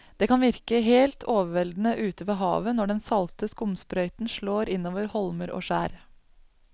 Det kan virke helt overveldende ute ved havet når den salte skumsprøyten slår innover holmer og skjær.